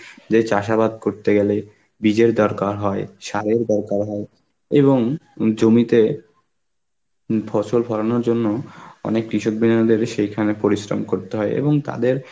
যে চাষাবাদ করতে গেলে বীজের দরকার হয়, সারের দরকার হয় এবং হম জমিতে হম ফসল ফলানোর জন্য অনেক সেইখানে পরিশ্রম করতে হয় এবং তাদের